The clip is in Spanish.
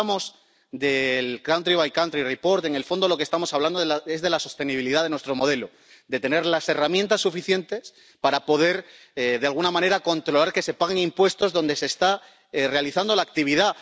Cuando hablamos de los informes país por país en el fondo de lo que estamos hablando es de la sostenibilidad de nuestro modelo, de tener las herramientas suficientes para poder, de alguna manera, controlar que se pagan impuestos donde se está realizando la actividad.